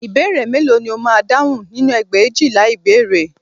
Ìbéèrè mélòó ni o máa dáhùn nínú ẹgbẹ̀éjìlá ìbéèrè